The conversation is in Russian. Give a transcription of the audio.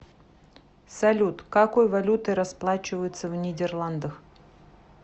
салют какой валютой расплачиваются в нидерландах